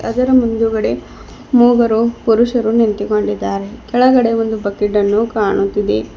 ಅದರ ಮುಂದುಗಡೆ ಮೂವರು ಪುರುಷರು ನಿಂತುಕೊಂಡಿದ್ದಾರೆ ಕೆಳಗಡೆ ಒಂದು ಬಕೆಟ್ ಅನ್ನು ಕಾಣುತ್ತಿದೆ.